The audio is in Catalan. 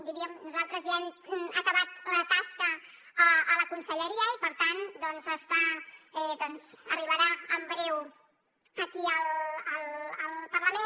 diríem que nosaltres ja hem acabat la tasca a la conselleria i per tant arribarà en breu aquí al parlament